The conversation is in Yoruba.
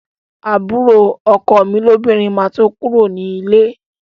Àbúrò ọkọ mi lóbìnrin máa tó kúrò ní líle